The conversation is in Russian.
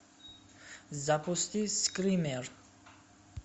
запусти скример